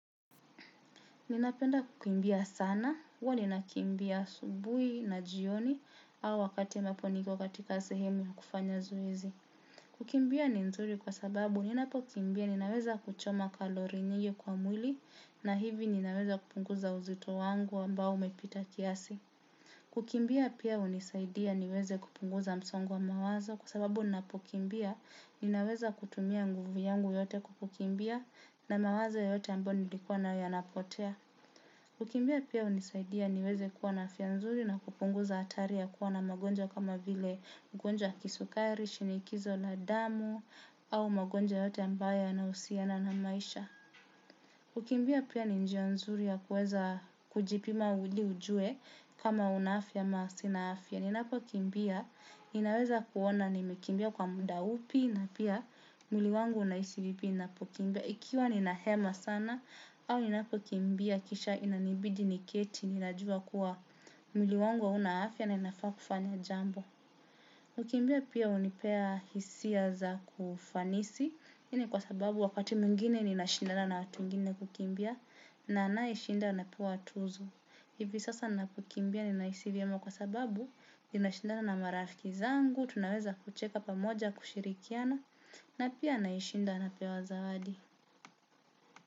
Ninapenda kukimbia sana, huwa ninakimbia asubuhi na jioni, au wakati ya ambapo niko katika sehemu ya kufanya zoezi. Kukimbia ni nzuri kwa sababu, ninapokimbia ninaweza kuchoma kalori nyingi kwa mwili, na hivi ninaweza kupunguza uzito wangu ambao umepita kiasi. Kukimbia pia hunisaidia niweze kupunguza msongo wa mawazo kwa sababu ninapokimbia ninaweza kutumia nguvu yangu yote kukimbia na mawazo yote ambao nilikuwa na yanapotea. Ukimbia pia unisaidia niweze kuwa na afya nzuri na kupunguza atari ya kuwa na magonjwa kama vile ugonjwa waa kisukairi shiniikizo la damu au magonjwa yote ambayo yanausiana na maisha kukimbia pia ni njia nzuri ya kuweza kujipima ili ujue kama una afya ama sina afya. Ninapo kimbia ninaweza kuona nimekimbia kwa muda upi na pia mwili wangu unahisi vipi ninapokimbia. Ikiwa ninahema sana au ninapokimbia kisha inanibidi ni keti nina jua kuwa mwili wangu hauna afya na inafaa kufanya jambo. Kukimbia pia unipea hisia za kiufanisi. Ini kwa sababu wakati mwingine ninashindana na watu wengine kukimbia na anayeshinda anapewa tuzo. Ivi sasa napokimbia ninahisi vyema kwa sababu nina shindana na marafiki zangu. Tunaweza kucheka pamoja kushirikiana na pia anayishinda anapewa zawadi.